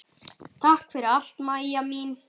Takk fyrir allt, Maja mín.